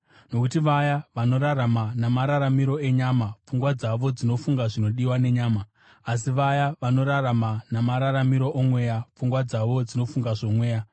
Nokuti vaya vanorarama namararamiro enyama, pfungwa dzavo dzinofunga zvinodiwa nenyama; asi vaya vanorarama namararamiro oMweya, pfungwa dzavo dzinofunga zvoMweya.